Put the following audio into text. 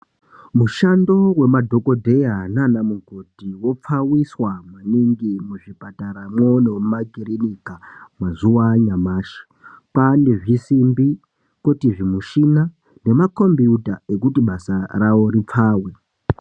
Mushando wemadhokodheya naanamukoti wopfawiswa maningi muzvipataramwo nemumakirinika mazuwa anyamashi. Kwaane zvisimbi, kwoti zvimushina zvesombi, kwoti zvimushina nemakhombiyuta zvekuti basa ravo ripfawe.